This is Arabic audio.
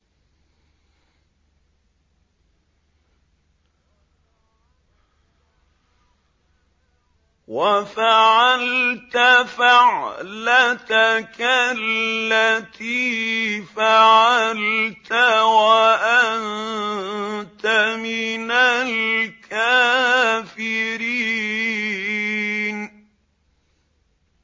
وَفَعَلْتَ فَعْلَتَكَ الَّتِي فَعَلْتَ وَأَنتَ مِنَ الْكَافِرِينَ